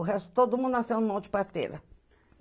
O resto, todo mundo nasceu na mão de parteira.